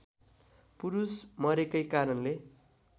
पुरुष मरेकै कारणले